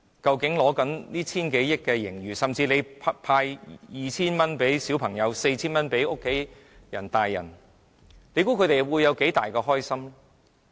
究竟坐擁千億元盈餘的政府分別向小朋友和成人派 2,000 元及 4,000 元，市民會有多高興？